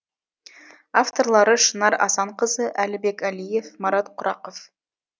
авторлары шынар асанқызы әлібек әлиев марат құрақов